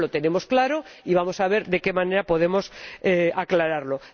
Y eso lo tenemos claro y vamos a ver de qué manera podemos aclararlo.